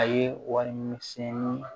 A ye warimisɛnnin